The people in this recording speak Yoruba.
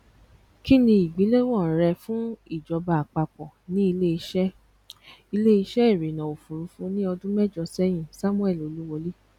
ki ni igbelewọn rẹ fun ijọba apapọ ni ileiṣẹ ileiṣẹ irinna ofurufu ni ọdun mẹjọ sẹyin samuel oluwole